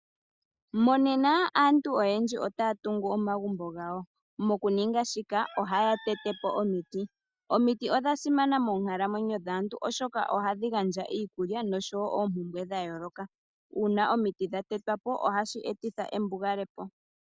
Monena aantu oyendji otaya tungu omagumbo gawo. Mokuninga shika ohaya tete po omiti, omiti odha simana moonkalamwenyo dhaantu oshoka ohadhi gandja iikulya oshowo oompumbwe dha yooloka. Uuna omiti dha tetwa po ohashi etitha embugale ko.